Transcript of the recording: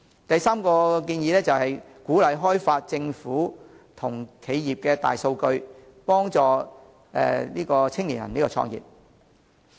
第三，鼓勵開放政府和企業大數據，幫助青年創業。